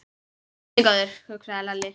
Guð minn góður, hugsaði Lalli.